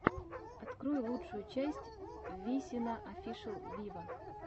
открой лучшую часть висина офишел виво